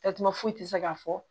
Tasuma foyi tɛ se ka fɔ